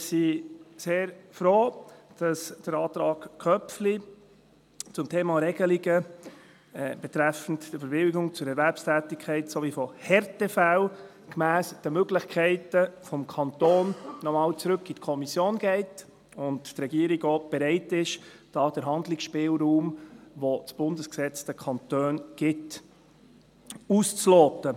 Wir sind sehr froh, dass der Antrag Köpfli zum Thema Regelungen betreffend die Bewilligung zur Erwerbstätigkeit sowie von Härtefällen gemäss den Möglichkeiten des Kantons noch einmal zurück in die Kommission geht und die Regierung auch bereit ist, den Handlungsspielraum, den das Bundesgesetz den Kantonen gibt, auszuloten.